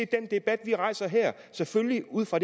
den debat vi rejser her selvfølgelig ud fra